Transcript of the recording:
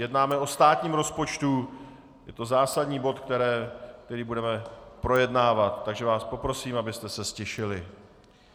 Jednáme o státním rozpočtu, je to zásadní bod, který budeme projednávat, takže vás poprosím, abyste se ztišili.